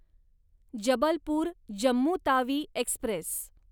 Jabalpur Jammu Tawi Express